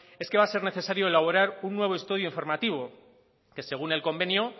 es que va a ser necesario elaborar un nuevo estudio informativo que según el convenio